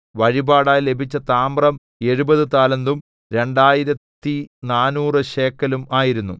വഴിപാടായി ലഭിച്ച താമ്രം എഴുപത് താലന്തും രണ്ടായിരത്തിനാനൂറ് ശേക്കെലും ആയിരുന്നു